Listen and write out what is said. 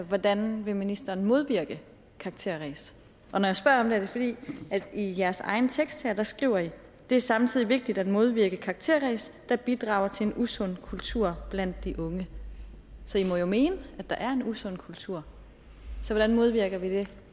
hvordan ministeren vil modvirke karakterræs og når jeg spørger om det er det fordi i i jeres egen tekst her skriver det er samtidig vigtigt at modvirke karakterræs der bidrager til en usund kultur blandt de unge så i må jo mene at der er en usund kultur så hvordan modvirker vi det